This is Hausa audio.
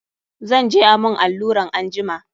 Zan je a mun alluran anjima.